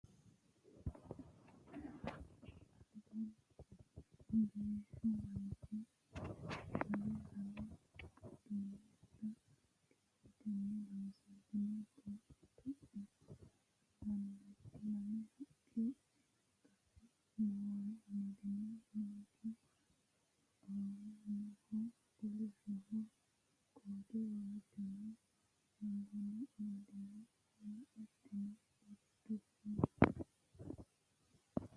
Alba biishshu manchi anga lame duummaadda kirretenni loonsoonni tuntu'mo lawannorira lamu haqqi qasame Moore amadino. manchu awuuwaamoho kolishsho koote waajjonna haanja amaddino Latino uddire no